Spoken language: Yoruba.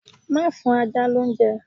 Má fún ajá lóúnjẹ.